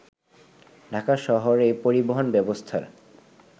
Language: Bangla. ঢাকা শহরের পরিবহন ব্যবস্থার